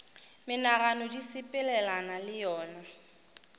menagano di sepelelana le yona